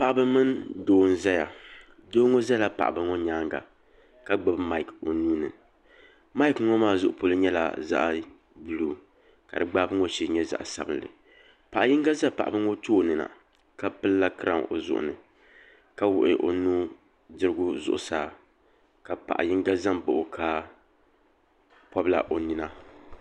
Paɣaba mini doo n ʒɛya doo ŋo ʒɛla paɣaba ŋo nyaanga ka gbubi maaik o nuuni maaik ŋo maa zuɣu polo nyɛla zaɣ buluu ka di gbaabu ŋo shee nyɛ zaɣ sabinli paɣa yinga ʒɛ paɣaba ŋo tooni na ka pilila kiraawn o zuɣu ni ka wuɣi o nudirigu zuɣusaa ka paɣa yinga ʒɛ n baɣa o ka pobila o nina